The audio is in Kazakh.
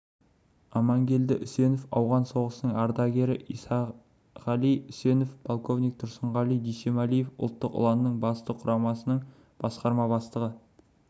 амангелді үсенов ауған соғысының ардагері исанғали үсенов полковник тұрсынғали дүйсемалиев ұлттық ұланның батыс құрамасының басқарма бастығы